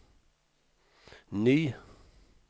ny